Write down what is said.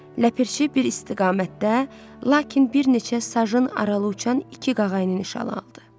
Ləpirçi bir istiqamətdə, lakin bir neçə sajın aralı uçan iki qağayının nişana aldı.